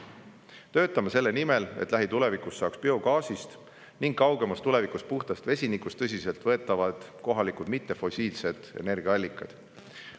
Töötame selle nimel, et lähitulevikus saaks biogaasist ja kaugemas tulevikus puhtast vesinikust tõsiseltvõetavad kohalikud mittefossiilsed energiaallikad.